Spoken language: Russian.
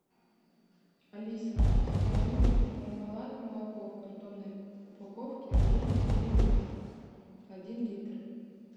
алиса закажи мне пармалат молоко в картонной упаковке жирность три и два один литр